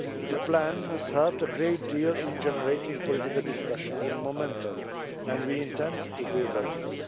The plan has helped a great deal in generating political discussion and momentum, and we intend to build on this.